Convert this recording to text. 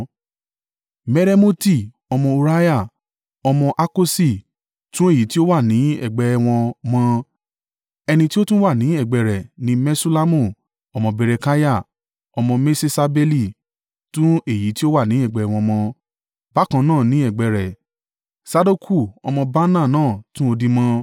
Meremoti ọmọ Uriah, ọmọ Hakosi tún èyí tí ó wà ní ẹ̀gbẹ́ ẹ wọn mọ. Ẹni tí ó tún wà ní ẹ̀gbẹ́ rẹ̀ ni Meṣullamu ọmọ Berekiah, ọmọ Meṣesabeli tún èyí ti ó wà ní ẹ̀gbẹ́ wọn mọ. Bákan náà ni ẹ̀gbẹ́ rẹ̀, Sadoku ọmọ Baanah náà tún odi mọ.